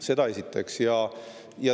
Seda esiteks.